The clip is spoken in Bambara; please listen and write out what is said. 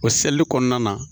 O seli kɔnɔna na